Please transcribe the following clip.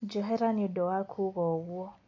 Njohera nĩũndũ wa kuga ũguo.